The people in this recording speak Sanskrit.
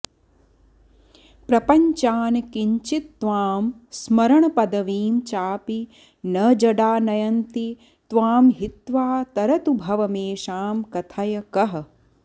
प्रपञ्चान् किञ्चित्त्वां स्मरणपदवीं चापि न जडा नयन्ति त्वां हित्वा तरतु भवमेषां कथय कः